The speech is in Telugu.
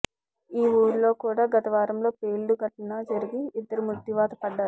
ఈ ఊరిలో కూడా గత వారంలో పేలుడు ఘటన జరిగి ఇద్దరు మృత్యువాత పడ్డారు